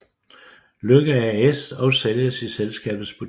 Lykke AS og sælges i selskabets butikker